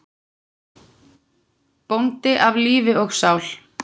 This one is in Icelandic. Bóndi af lífi og sál.